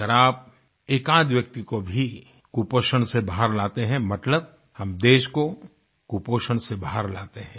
अगर आप एकाध व्यक्ति को भी कुपोषण से बाहर लाते हैं मतलब हम देश को कुपोषण से बाहर लाते हैं